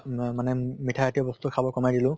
ম মানে মিঠা জাতীয় বস্তু খাব কমাই দিলো